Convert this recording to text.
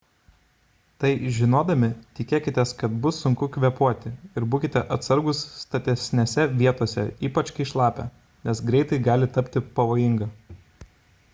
tai žinodami tikėkitės kad bus sunku kvėpuoti ir būkite atsargūs statesnėse vietose ypač kai šlapia nes greitai gali tapti pavojinga